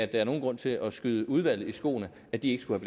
der er nogen grund til at skyde udvalget i skoene at de ikke skulle